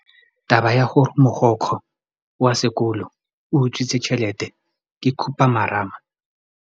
Taba ya gore mogokgo wa sekolo o utswitse tšhelete ke khupamarama.